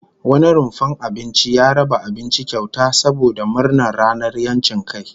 Wani rumfar abinci ya raba abinci kyauta saboda murnar ranar 'yancin kai